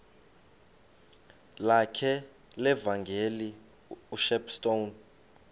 lakhe levangeli ushepstone